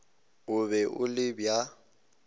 e be e le bja